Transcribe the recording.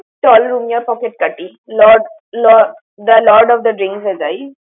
চল রুমিয়ার pocket কাটি। Lord Lord the Lord Lord of the Drinks এ যাই।